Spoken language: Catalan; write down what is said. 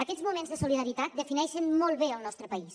aquests moments de solidaritat defineixen molt bé el nostre país